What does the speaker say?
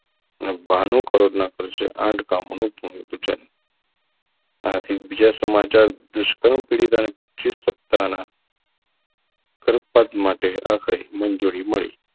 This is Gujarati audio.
અને બાણું કરોડના ખર્ચે આઠ ગામોનું ભૂમિ પૂજન આથી બીજા સમાચાર દુષ્કર્મ પીડીતા ને પચીસ સત્તાના સત્કાર માટે આખરે મંજૂરી મળી